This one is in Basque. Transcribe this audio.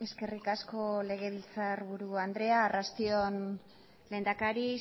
eskerrik asko legebiltzarburu andrea arratsalde on lehendakari